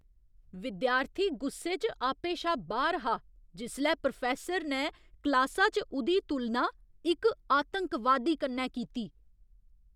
विद्यार्थी गुस्से च आपे शा बाह्र हा जिसलै प्रोफैस्सर ने क्लासा च उ'दी तुलना इक आतंकवादी कन्नै कीती।